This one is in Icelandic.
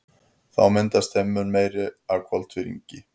Þá myndast þeim mun meira af koltvíildi.